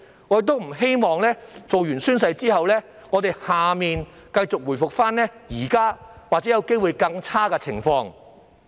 我不希望在完成宣誓後，區議會會繼續出現現時的情況，甚或更差的情況。